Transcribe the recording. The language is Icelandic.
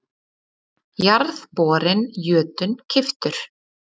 Jarðborinn Jötunn keyptur.